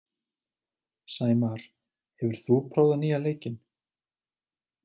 Sæmar, hefur þú prófað nýja leikinn?